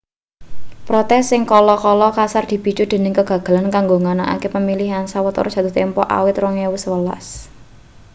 protes sing kala-kala kasar dipicu dening kegagalan kanggo nganakake pemilihan sawetara jatuh tempo awit 2011